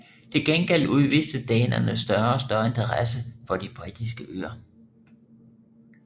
Til gengæld udviste danerne større og større interesse for de Britiske Øer